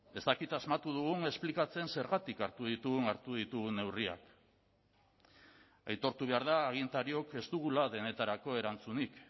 ez dakit asmatu dugun esplikatzen zergatik hartu ditugun hartu ditugun neurriak aitortu behar da agintariok ez dugula denetarako erantzunik